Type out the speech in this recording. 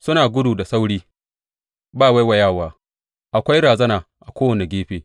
Suna gudu da sauri ba waiwayawa, akwai razana a kowane gefe,